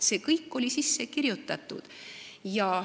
See kõik oli sinna sisse kirjutatud.